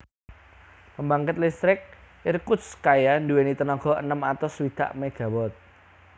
Pembangkit listrik Irkutskaya duwèni tenaga enem atus swidak megawatt